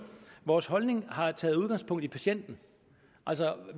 vores holdning har taget udgangspunkt i patienten